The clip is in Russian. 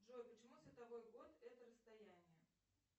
джой почему световой год это расстояние